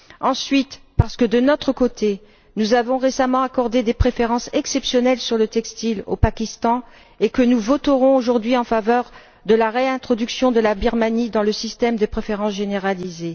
Ensuite, parce que, de notre côté, nous avons récemment accordé des préférences exceptionnelles sur le textile au Pakistan et que nous voterons aujourd'hui en faveur de la réintroduction de la Birmanie dans le système des préférences généralisées.